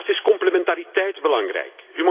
Daarnaast is complementariteit belangrijk.